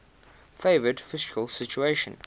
favourable fiscal situation